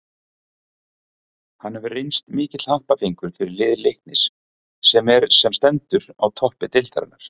Hann hefur reynst mikill happafengur fyrir lið Leiknis sem er sem stendur á toppi deildarinnar.